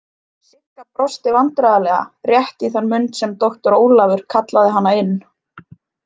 Sigga brosti vandræðalega rétt í þann mund sem doktor Ólafur kallaði hana inn.